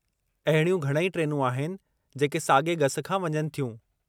अहिड़ियूं घणई ट्रेनूं आहिनि जेके सागे॒ गसु खां वञनि थियूं।